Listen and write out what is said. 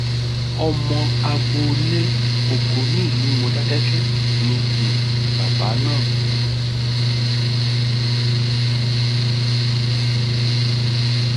ọmọ agboolé ògo nílùú módékèké ni um bàbá náà